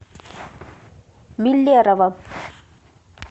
миллерово